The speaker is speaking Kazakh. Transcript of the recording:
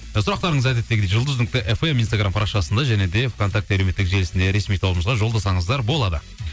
ы сұрақтарыңыз әдеттегідей жұлдыз нүкте фм инстаграм парақшасында және де вконтакте әлеуметтік желісінде ресми тобымызға жолдасаңыздар болады